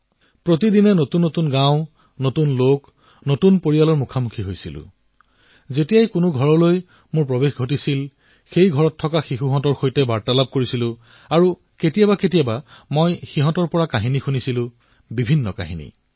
প্ৰতিদিনে নতুন গাঁও নতুন লোক নতুন পৰিয়ালকিন্তু যেতিয়া মই পৰিয়ালবোৰৰ ওচৰলৈ গৈছিলো তেতিয়া মই শিশুসকলৰ সৈতে কথা পাতিছিলো আৰু কেতিয়াবা কেতিয়াবা শিশুসকলক কৈছিলো যে মোক সাধু শুনোৱা